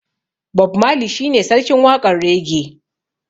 Bob marley shi ne sarkin waƙar raggae.